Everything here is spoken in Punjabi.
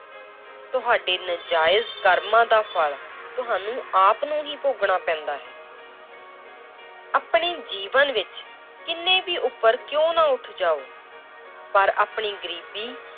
ਤੁਹਾਡੇ ਨਜਾਇਜ਼ ਕਰਮਾਂ ਦਾ ਫਲ ਤੁਹਾਨੂੰ ਆਪ ਨੂੰ ਹੀ ਭੋਗਣਾ ਪੈਂਦਾ ਹੈ l ਆਪਣੇ ਜੀਵਨ ਵਿੱਚ ਕਿੰਨੇ ਵੀ ਉੱਪਰ ਕਿਉਂ ਨਾ ਉਠ ਜਾਓ ਪਰ ਆਪਣੀ ਗ਼ਰੀਬੀ